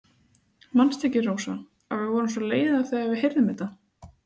Manstu ekki, Rósa, að við vorum svo leiðar þegar við heyrðum þetta.